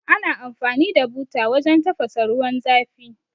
Ana amfani da buta wajan tafasa ruwan zafi